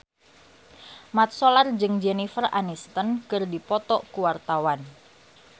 Mat Solar jeung Jennifer Aniston keur dipoto ku wartawan